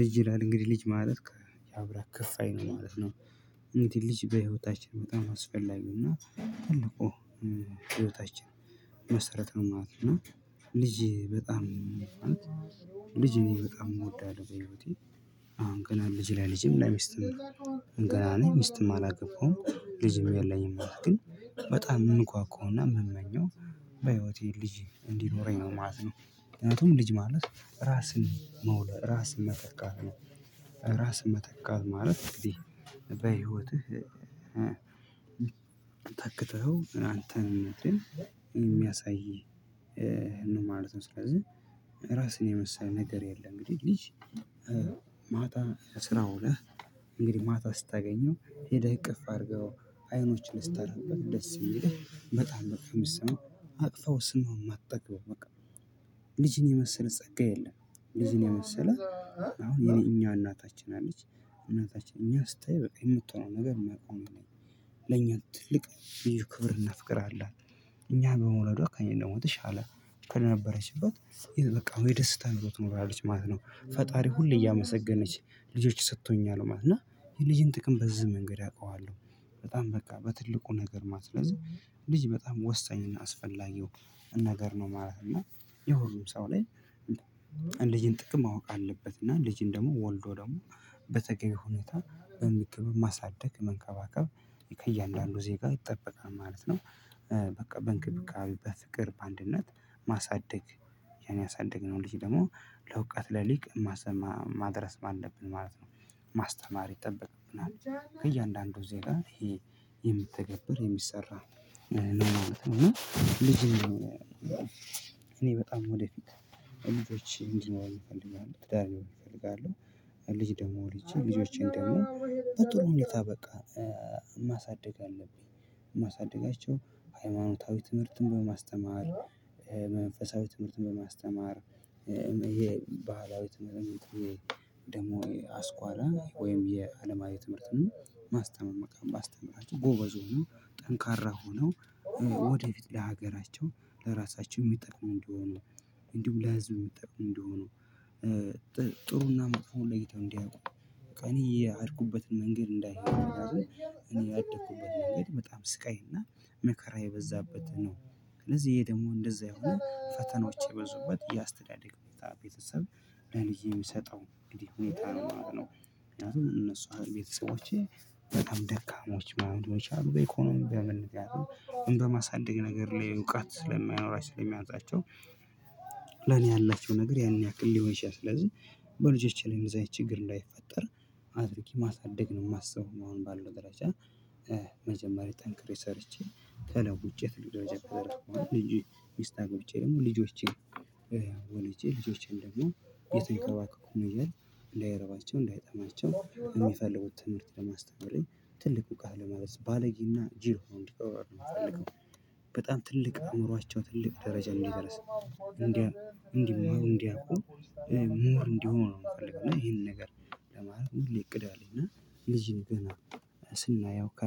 ልጅ ይላል እንግዲህ ልጅ ማለት ያው ከፍ ያልአለ ማለት ነው። እንዴ ልጅ በህይወታችን በጣም አስፈላጊውና ትልቁ ህይወታችን መሰረታዊ ማለት ነው። እና ልጅ በጣም ልጅ ነኝ በጣም እወዳለሁ። በህይወቴ አሁን ገና ልጅ ላይ ልጅም ለሚስትም ነው። ገና ላይ ሚስትም አላገባውም ልጅም የለኝም ማለት ግን በጣም የምንጓጓውና የምመኘው በህይወቴ ልጅ እንዲኖረኝ ነው ማለት ነው። ምክንያቱም ልጅ ማለት ራስን መውለድ ራስን መተካት ነው። ራስን መተካት ማለት እንግዲህ በህይወትህ ታክተኸው አንተን የሚያሳይ ነው ማለት ነው። ስለዚህ ራስህን የመሰለ ነገር የለም። እንግዲህ ልጅ ማታ ስራ ውለህ እንግዲህ ማታ ስታገኘው ሄደህ እቅፍ አድርገው አይኖችን ልታሳረፍበት ደስ የሚለህ በጣም በቃ የሚሰማው አቅፈው ስሜም አትጠግበም በቃ ልጅን የመሰለ ጸጋ የለም። ልጅን የመሰለ አሁን የኔ እኛ እናታችን አለች እናታችን እኛ ስታይ የምትሆነው ነገር መቆም ነው። ለኛ ትልቅ ልዩ ክብርና ፍቅር አላት። እኛን በመውለዷ ከእኔ ደግሞ ትሻለ ከነበረችበት በቃ አሁን የደስታ ኑሮ ትኖራለች ማለት ነው። ፈጣሪ ሁሌ እያመሰገነች ልጆች ሰጥቶኛል ማለት ነው ነው እና የልጅን ጥቅም በዚህ መንገድ አውቀዋለሁ። በጣም በቃ በትልቁ ነገር ማለት ነው ስለዚህ ልጅ በጣም ወሳኝና አስፈላጊው ነገር ነው ማለት ነው። የሁሉም ሰው ላይ ልጅን ጥቅም ማወቅ አለበት እና ልጅን ደግሞ ወልዶ ደግሞ በተለየ ሁኔታ በሚገበብ ማሳደግ መንከባከብ ከእያንዳንዱ ዜጋው ይጠበቃል ማለት ነው። በቃ በእንክብካቤ በፍቅር በአንድነት ማሳደግ ያኔ ያሳደግነው ልጅ ደግሞ ለውቀት ለሊቅ ማሰማ ማድረስ ማለብን ማለት ነው። ማስተማር ይጠበቅብናል ከእያንዳንዱ ዜጋ ይሄ የምትተገብር የሚሰራ ማለት ነው። እና ልጅ እኔ በጣም ወደፊት ልጆች እንዲኖሩኝ እፈልጋለሁ ትዳር እፈልጋለሁ። ልጅ ደግሞ ልጅ ልጆቼን ደግሞ በጥሩ ሁኔታ በቃ ማሳደግ አለብኝ። ማሳደጋቸው ሃይማኖታዊ ትምህርትን በማስተማር መንፈሳዊ ትምህርትን በማስተማር የባህላዊ ትምህርት ደግሞ አስኳላ ወይም የአለማዊ ትምህርትን ማስተምር መቃም ባስተምራቸው ጎበዝ ሆኖ ጠንካራ ሆኖ ወደፊት ለሀገራቸው ለራሳቸው የሚጠቅመው እንደሆኑ እንዲሁም ለህዝብ የሚጠቅመው እንደሆኑ ጥሩና መጥፎ ለይተው እንዲያውቁ እኔ ያድኩበትን መንገድ እንዳይሆን ምክንያቱም እኔ ያደኩበትን መንገድ በጣም ስቃይና መከራ የበዛበት ነው። ስለዚህ ይሄ ደግሞ እንደዛ የሆኑ ፈተናዎች የበዙበት የአስተዳደግ ቤተሰብ ለልጅ የሚሰጠው እንግዲህ ሁኔታ ነው ማለት ነው። ምክንያቱም እነሱ ቤተሰቦቼ በጣም ደካማዎች ማወቅ ነው የቻሉት የኢኮኖሚ ደመን እንደማሳደግ ነገር ላይ እውቀት ስለማይኖራችሁ ስለማውቃቸው ለኔ ያላቸው ነገር ያንን ያክል ሊሆን ይችላል። ስለዚህ በልጆቼ ላይ እንደዛ ችግር እንዳይፈጠር አድርጊ ማሳደግ ነው የማስበው አሁን ባለው ደረጃ። መጀመሪያ ጠንክሬ ሰርቼ ተለውጭ ትልቅ ደረጀ አልኩኝ ልጅ ሚስት አጎብጬ ደግሞ ልጆቼን ወነጄ ልጆቼን ደግሞ የተከባከቡ መጀመሪያ እንዳይረባቸው እንዳይጠማቸው የሚፈልጉት ትምህርት ለማስተማርነት ትልቁ ቃል ለማለት ባለጌና ጅል ሆኖ እንድቀረብ ነው የምፈልገው። በጣም ትልቅ አዕምሯቸው ትልቅ ደረጃ እንዲደርስ እንዲማሩ እንዲያውቁ እንዲሆኑ ነው የምፈልገው ይሄንን ነገር ለማለት ነው። ሁሌ እቅድ አለኝ እና ልጅን ገና ስናየው ከ